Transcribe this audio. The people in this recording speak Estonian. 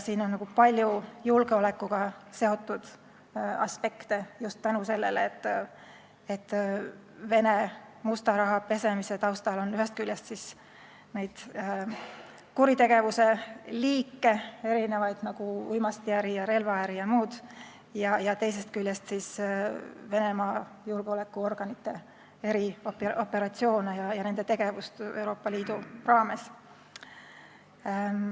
Siin on palju julgeolekuga seotud aspekte, seda just tänu sellele, et Vene musta raha pesemise taustal on ühest küljest erinevaid kuritegevuse liike, nagu uimastiäri, relvaäri jm, ning teisest küljest Venemaa julgeolekuorganite erioperatsioone ja nende muud tegevust Euroopa Liidu raames.